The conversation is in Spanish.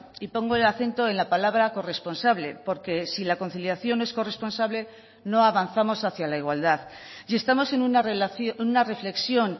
y pongo el acento en la palabra corresponsable porque si la conciliación es corresponsable no avanzamos hacia la igualdad y estamos en una reflexión